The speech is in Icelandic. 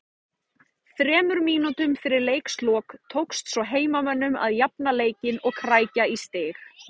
Þremur mínútum fyrir leiks lok tókst svo heimamönnum að jafna leikinn og krækja í stig